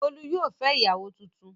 Bólú yóò fẹ́ ìyàwó tuntun.